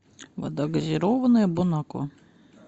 вода газированная бонаква